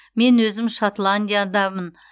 мен өзім шотландиядамын